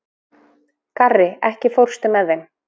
Garri, ekki fórstu með þeim?